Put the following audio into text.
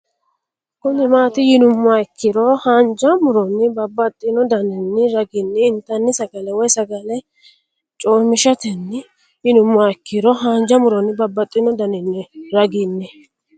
Kuni mati yinumoha ikiro hanja muroni babaxino daninina ragini intani sagale woyi sagali comishaten yinumoha ikiro hanja muroni babaxino daninina ragini?